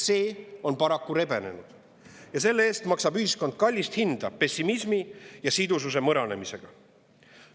See on paraku rebenenud ja selle eest maksab ühiskond kallist hinda pessimismi ja sidususe mõranemisega.